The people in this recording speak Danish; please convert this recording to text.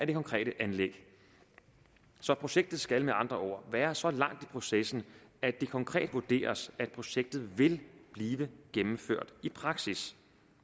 det konkrete anlæg projektet skal med andre ord være så langt i processen at det konkret vurderes at projektet vil blive gennemført i praksis